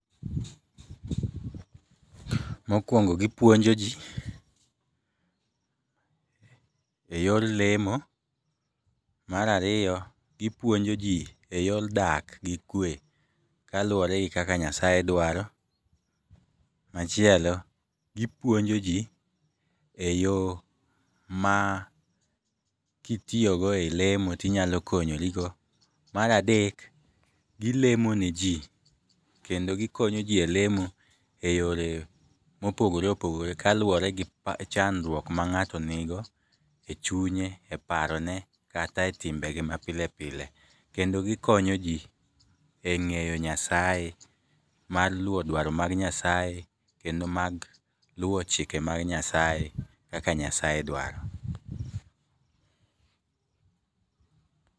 Mokwongo gipuonjo ji e yor lemo. Marariyo, gipuonjo ji e yor dak gi kwe kaluwore gi kaka Nyasaye dwaro. Machielo, gipuonjo ji e yo ma kitiyogo e lemo tinyalo konyorigo. Maradek, gilemoneji kendo gikonyoji e lemo mopogore opogore kaluwore gi chandruok ma ng'ato nigo e chunye, e parone, kata e timbege ma pile pile. Kendo gikonyo ji e ng'eyo Nyasaye, mar luwo dwaro mar Nyasaye kendo mag luwo chike mag Nyasaye kaka Nyasaye dwaro.